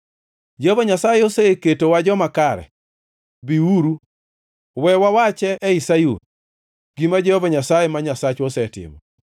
“ ‘Jehova Nyasaye oseketowa joma kare; biuru, we wawache ei Sayun, gima Jehova Nyasaye, ma Nyasachwa osetimo.’